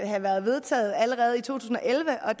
have været vedtaget allerede i to tusind og elleve og